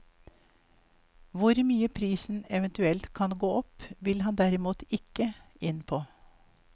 Hvor mye prisen eventuelt kan gå opp, vil han derimot ikke inn på.